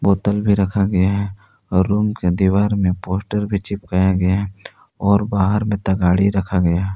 बोतल भी रखा गया हैं और रूम के दीवार में पोस्टर भी चिपकाया गया है और बाहर में तगाड़ी रखा गया हैं।